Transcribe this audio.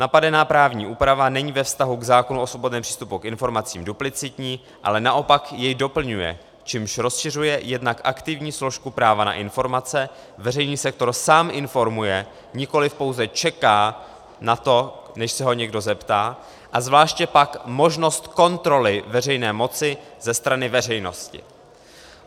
Napadená právní úprava není ve vztahu k zákonu o svobodném přístupu k informacím duplicitní, ale naopak jej doplňuje, čímž rozšiřuje jednak aktivní složku práva na informace, veřejný sektor sám informuje, nikoliv pouze čeká na to, než se ho někdo zeptá, a zvláště pak možnost kontroly veřejné moci ze strany veřejnosti.